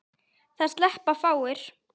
Það sleppa fáir.